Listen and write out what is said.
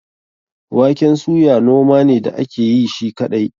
Waken suya noma ne da ake yi shi kaɗai.